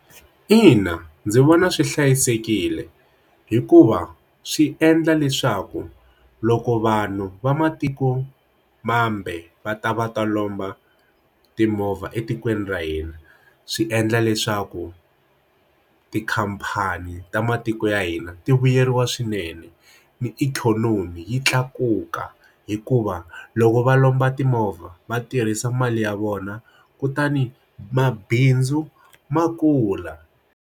Ina, ndzi vona swi hlayisekile hikuva swi endla leswaku loko vanhu va matiko mambe va ta va ta lomba timovha etikweni ra hina swi endla leswaku tikhampani ta matiko ya hina ti vuyeriwa swinene ni ikhonomi yi tlakuka hikuva loko va lomba timovha va tirhisa mali ya vona kutani mabindzu ma kula.